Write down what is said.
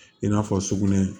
I n'a fɔ sugunɛ